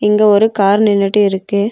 இங்க ஒரு கார் நின்னுட்டு இருக்கு.